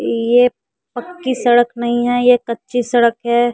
ये पक्की सड़क नहीं है ये कच्ची सड़क है।